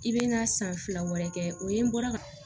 I bɛ n'a san fila wɛrɛ kɛ o ye n bɔra ka